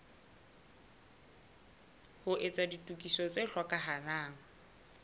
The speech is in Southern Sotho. ho etsa ditokiso tse hlokahalang